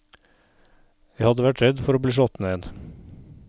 Jeg hadde vært redd for å bli slått ned.